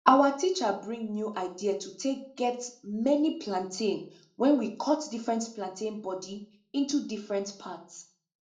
our teacher bring new idea to take get many plantain when we cut different plantain body into different part